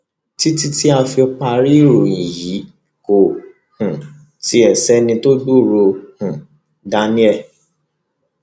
títí tá a fi parí ìròyìn yìí kò um tí ì sẹni tó gbúròó um daniel